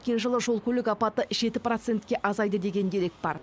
өткен жылы жол көлік апаты жеті процентке азайды деген дерек бар